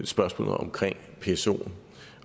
spørgsmålet om psoen